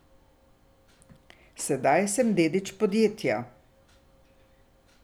Sedaj sem dedič podjetja.